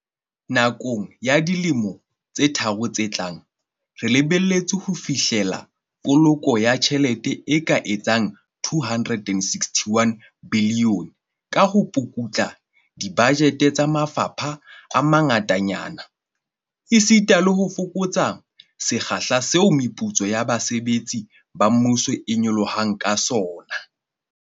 Nakong ya dilemo tse tharo tse tlang, re lebelletse ho fihlella poloko ya tjhelete e ka etsang R261 bilione ka ho pukutla dibajete tsa mafapha a mangatanyana, esita le ho fokotsa sekgahla seo meputso ya basebetsi ba mmuso e nyolohang ka sona.